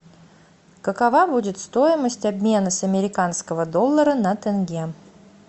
какова будет стоимость обмена с американского доллара на тенге